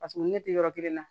Paseke ne tɛ yɔrɔ kelen na